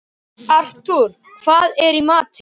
Artúr, hvað er í matinn?